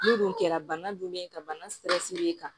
N'o dun kɛra bana dun bɛ yen ka bana sig'e kan